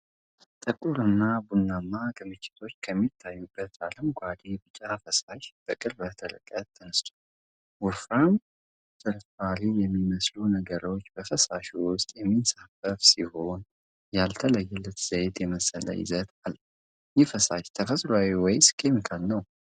ጥቁር እና ቡናማ ክምችቶች ከሚታዩበት አረንጓዴ-ቢጫ ፈሳሽ በቅርብ ርቀት ተነስቷል። ወፍራም ፍርፋሪ የሚመስሉ ነገሮች በፈሳሹ ውስጥ የሚንሳፈፉ ሲሆን ያልተለየ ዘይት የመሰለ ይዘት አለው። ይህ ፈሳሽ ተፈጥሯዊ ወይስ ኬሚካዊ ነው?